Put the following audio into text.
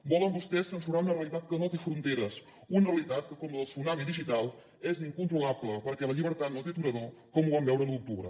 volen vostès censurar una realitat que no té fronteres una realitat que com el tsunami digital és incontrolable perquè la llibertat no té aturador com ho vam veure l’u d’octubre